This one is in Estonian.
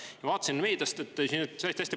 Ma vaatasin meediast, …….